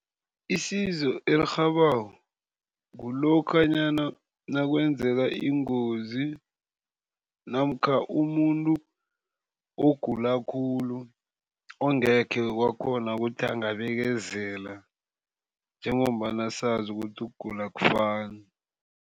Isizo elirhabako kulokhanyana nakwenzeka ingozi namkha umuntu ogula khulu ongekhe wakghona ukuthi angabekezela njengombana sazi ukuthi ukugula akufani.